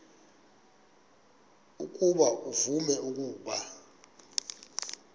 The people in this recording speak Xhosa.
ukuba uvume ukuba